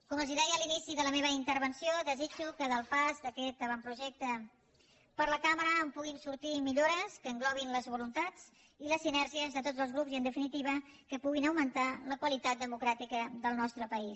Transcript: com els deia a l’inici de la meva intervenció desitjo que del pas d’aquest avantprojecte per la cambra en puguin sortir millores que englobin les voluntats i les sinergies de tots els grups i en definitiva que puguin augmentar la qualitat democràtica del nostre país